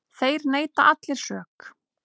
Þeir neita allir sök.